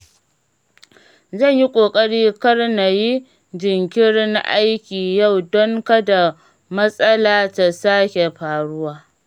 Zan yi ƙoƙari kar na yi jinkirin aiki yau don kada matsala ta sake faruwa.